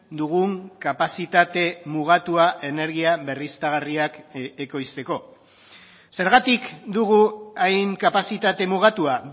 dugun kapazitate mugatua energia berriztagarriak ekoizteko zergatik dugu hain kapazitate mugatua